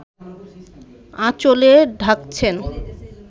আঁচলে ঢাকছেন